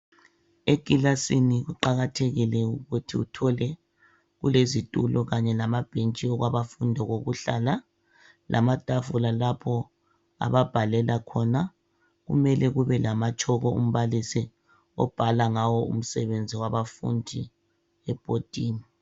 Ekilasini kuqakathekile ukuthi uthole kulezitulo kanye lamabhentshi okwabafundi okokuhlala lamatafula lapho ababhalela khona .Kumele kube lamatshoko umbalisi obhala ngawo umsebenzi wabafundi ebhodini.